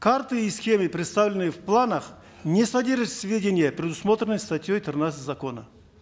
карты и схемы представленные в планах не содержат сведения предусмотренные статьей тринадцать закона